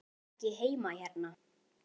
Ég á ekki heima hérna.